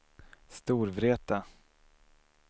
Storvreta